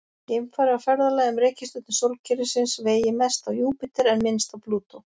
Geimfari á ferðalagi um reikistjörnur sólkerfisins vegi mest á Júpíter en minnst á Plútó.